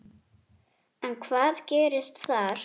En hvað gerðist þar?